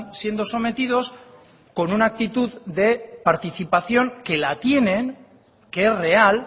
siendo sometidos con una actitud de participación que la tienen que es real